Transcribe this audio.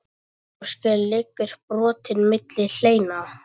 Bláskel liggur brotin milli hleina.